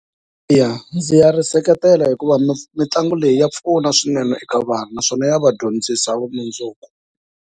Ya ndzi nga ri seketela hikuva mitlangu leyi ya pfuna swinene eka vana naswona ya va dyondzisa vumundzuku.